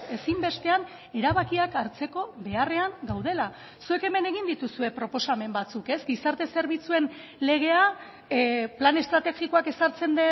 ezinbestean erabakiak hartzeko beharrean gaudela zuek hemen egin dituzue proposamen batzuk ez gizarte zerbitzuen legea plan estrategikoak ezartzen